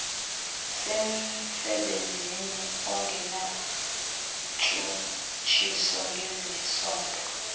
semsebenzini ongenantshutshiso ngezesondo